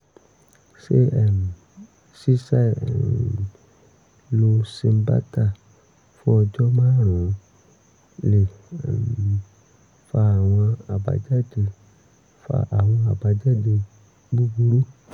ṣé um ṣíṣàì um lo cymbalta fún ọjọ́ márùn-ún lè um fa àwọn àbájáde fa àwọn àbájáde búburú?